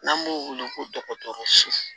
N'an b'o wele ko dɔgɔtɔrɔso